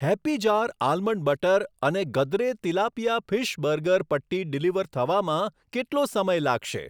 Happy jar almond butter અને Gadre tilapia fish burger patty deliver થવામાં કેટલો સમય લાગશે?